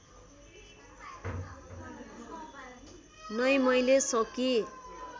नै मैले सकी